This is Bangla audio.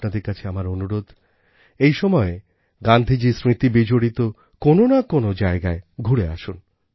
আপনাদের কাছে আমার অনুরোধ এই সময়ে গান্ধীজীর স্মৃতিবিজড়িত কোনও না কোনও জায়গায় ঘুরে আসুন